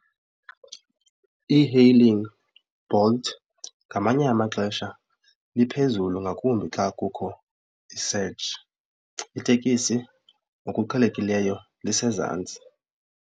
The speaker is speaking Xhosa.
E-hailing, Bolt ngamanye amaxesha iphezulu ngakumbi xa kukho i-search. Itekisi ngokuqhelekileyo lisezantsi.